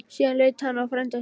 Síðan leit hann á frænda sinn.